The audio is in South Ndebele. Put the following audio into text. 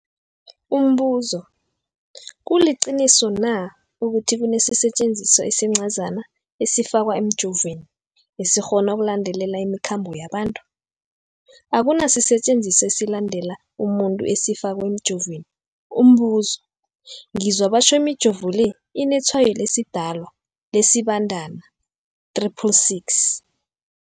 Umbuzo, kuliqiniso na ukuthi kunesisetjenziswa esincazana esifakwa emijovweni, esikghona ukulandelela imikhambo yabantu? Akuna sisetjenziswa esilandelela umuntu esifakwe emijoveni. Umbuzo, ngizwa batjho imijovo le inetshayo lesiDalwa, lesiBandana 666.